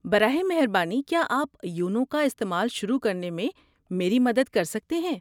براہ مہربانی کیا آپ یونو کا استعمال شروع کرنے میں میری مدد کر سکتے ہیں۔